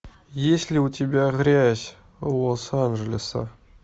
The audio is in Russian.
есть ли у тебя грязь лос анджелеса